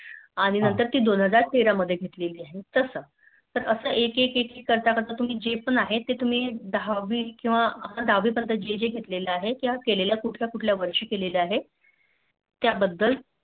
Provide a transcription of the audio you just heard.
आणि त्यानंतर ती दोन हजार तेरा मध्ये घेतली आहे तस असं एके एक करता करता तुम्ही ज पण आहे तुम्ही दहावी पर्यंत जेजे घेतलं आहे किंवा केले कुठल्या कुठल्या वर्षी केलं आहे त्या बद्दल